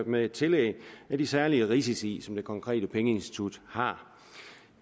med tillæg af de særlige risici som det konkrete pengeinstitut har